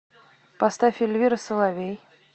поставь эльвира соловей